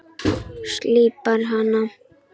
Slípar hana.